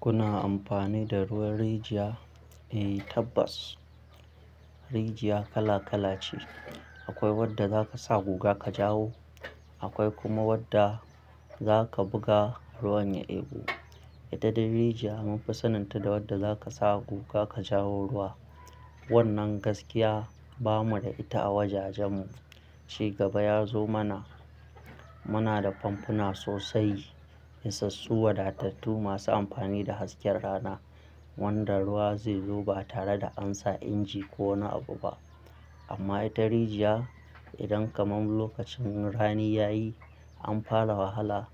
Kuna amfani da ruwan rijiya? Eh tabbas rijiya kala kala ce. Akwai wanda zaka sa guga ka jawo, akwai kuma wanda zaka buga ruwan ya ɓu. Da dadin rijiya mun fasalin ta da wanda zaka sa guga ka jawo ruwa. Wannan gaskiya bamu da ita a wajajen mu. Ci gaba ya zo mana. Muna da famfuna sosai, yansassu wadatattu masu amfani da hasken rana wanda ruwa zai zo ba tare da ansa inji ko wani abu ba. Amma ita rijiya idan kaman lokacin rani ya yi an fara wahala